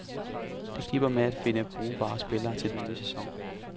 Det kniber med at finde brugbare spillere til den nye sæson.